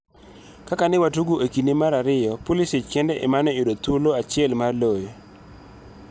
Kaka ne watugo e kinde mar ariyo, Pulisic kende ema ne oyudo thuolo achiel mar loyo.